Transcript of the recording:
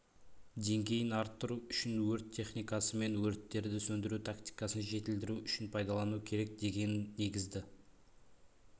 деңгейін арттыру үшін өрт техникасы мен өрттерді сөндіру тактикасын жетілдіру үшін пайдалану керек деген негізді